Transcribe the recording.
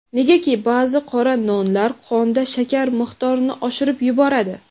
negaki ba’zi qora nonlar qonda shakar miqdorini oshirib yuboradi.